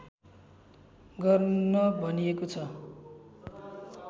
गर्न भनिएको छ